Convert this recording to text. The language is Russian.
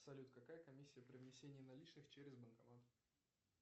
салют какая комиссия при внесении наличных через банкомат